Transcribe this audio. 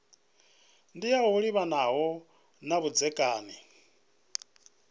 ndi yo livhanaho na vhudzekani